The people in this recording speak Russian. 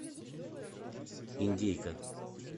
индейка